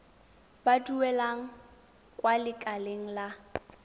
ba duelang kwa lekaleng la